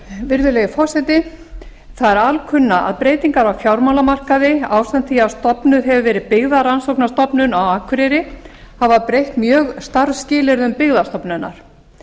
virðulegi forseti það er alkunna að breytingar á fjármálamarkaði ásamt því að stofnuð hefur verið byggðarannsóknastofnun á akureyri hafa breytt mjög starfsskilyrðum byggðastofnunar